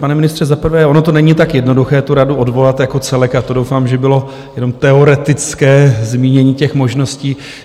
Pane ministře, za prvé, ono to není tak jednoduché tu radu odvolat jako celek, a to doufám, že bylo jenom teoretické zmínění těch možností.